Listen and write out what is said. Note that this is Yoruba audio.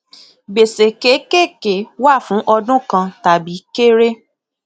gbèsè kékèké wà fún ọdún kan tàbí kéré